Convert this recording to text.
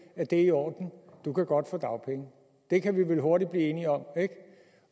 det er i orden du kan godt få dagpenge det kan vi vel hurtigt blive enige om ikke